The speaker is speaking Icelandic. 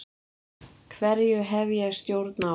Hverju hef ég stjórn á?